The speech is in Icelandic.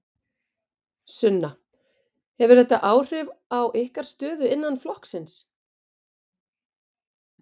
Sunna: Hefur þetta áhrif á ykkar stöðu innan flokksins?